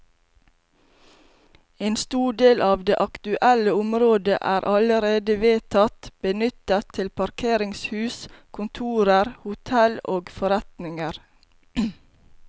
En stor del av det aktuelle området er allerede vedtatt benyttet til parkeringshus, kontorer, hotell og forretninger.